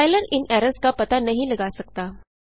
compiler इन errors का पता नहीं लगा सकता